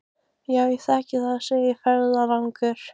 Já, ég þekki það, segir ferðalangur.